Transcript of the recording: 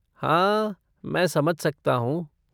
हाँ मैं समझ सकता हूँ।